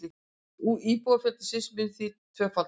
Íbúafjöldi Sviss myndi því tvöfaldast